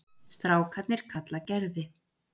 Strákarnir kalla Gerði